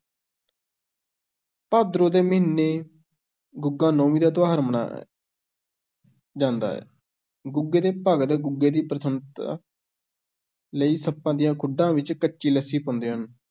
ਭਾਦਰੋਂ ਦੇ ਮਹੀਨੇ ਗੁੱਗਾ ਨੌਮੀ ਦਾ ਤਿਉਹਾਰ ਮਨਾਇਆ ਜਾਂਦਾ ਹੈ, ਗੁੱਗੇ ਦੇ ਭਗਤ ਗੁੱਗੇ ਦੀ ਪ੍ਰਸੰਨਤਾ ਲਈ ਸੱਪਾਂ ਦੀਆਂ ਖੁੱਡਾਂ ਵਿੱਚ ਕੱਚੀ ਲੱਸੀ ਪਾਉਂਦੇ ਹਨ।